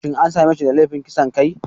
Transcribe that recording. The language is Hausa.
Shin an same shi da laifin kisan kai?